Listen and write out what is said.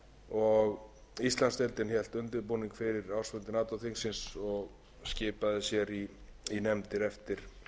ár íslandsdeildin hélt undirbúningsfundi fyrir ársfundi nato þingsins og skipaði sér í nefndir eftir